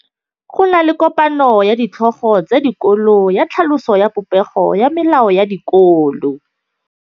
Go na le kopanô ya ditlhogo tsa dikolo ya tlhaloso ya popêgô ya melao ya dikolo.